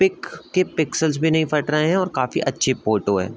Pick के pixels भी नहीं फट रहे हैं और काफी अच्‍छी फ़ोटो है ।